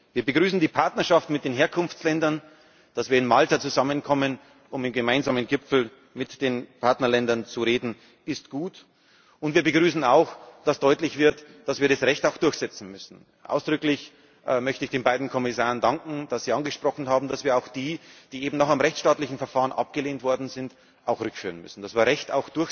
Wir begrüßen die Partnerschaft mit den Herkunftsländern Dass wir in Malta zusammenkommen, um auf dem gemeinsamen Gipfel mit den Partnerländern zu reden, ist gut. Und wir begrüßen auch, dass deutlich wird, dass wir das Recht auch durchsetzen müssen. Ausdrücklich möchte ich den beiden Kommissaren danken, dass sie angesprochen haben, dass wir auch die, die eben noch im rechtsstaatlichen Verfahren abgelehnt worden sind, rückführen müssen, dass wir